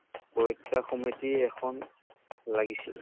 পৰীক্ষা সমিতি এখন লাগিছিল।